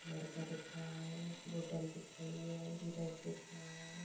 एक लड़का दिख रहा बोतल दिख रही है सूरज दिख रहा है।